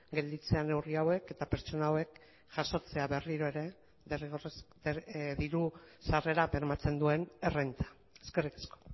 gelditzea neurri hauek eta pertsona hauek jasotzea berriro ere diru sarrera bermatzen duen errenta eskerrik asko